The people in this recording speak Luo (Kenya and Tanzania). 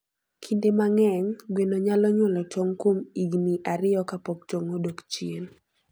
Kinde mang'eny, gweno nyalo nyuolo tong' kuom higini ariyo ka pok tong' odok chien.